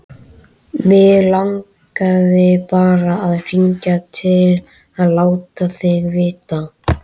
Mig langaði bara að hringja til að láta þig vita.